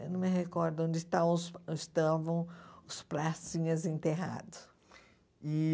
Eu não me recordo onde estão os estavam os pracinhas enterrados e